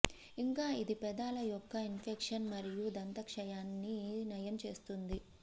ఇంకా ఇది పెదాల యొక్క ఇన్ఫెక్షన్ మరియు దంతక్షయాన్ని నయం చేస్తుంది